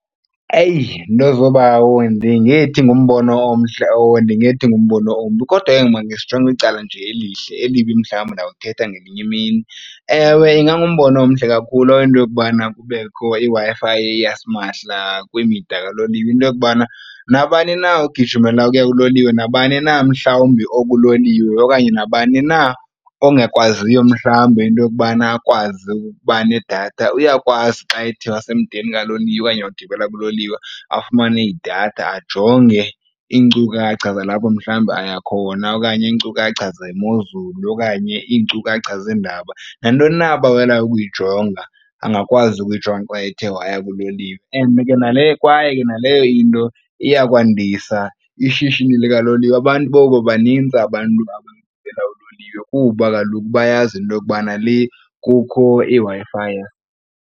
Eyi, nto zoobawo, andingethi ngumbono omhle owo, andingethi ngumbono ombi. Kodwa ke ngoku makhe sijonge icala nje elihle, elibi mhlawumbi ndawuthetha ngenye imini. Ewe, ingangumbono omhle kakhulu into yokubana kubekho iWi-Fi yasimahla kwimida kaloliwe, into yokubana nabani na ogijimela ukuya kuloliwe nabani na mhlawumbi okulolilwe okanye nabani na ongakwaziyo mhlawumbi into yokubana akwazi ukuba nedatha, uyakwazi xa ethe wasemdeni kaloliwe okanye wagibela kuloliwe afumane idatha. Ajonge iinkcukacha zalapho, mhlawumbi aya khona okanye iinkcukacha zemozulu okanye iinkcukacha zeendaba. Nantoni na abawelayo ukuyijonga angakwazi ukuyijonga xa ethe waya kuloliwe. And ke nale kwaye naleyo into iya kwandisa ishishini likaloliwe. Abantu bobanintsi abantu abagibela uloliwe kuba kaloku bayazi into yokubana lee kukho iWi-Fi.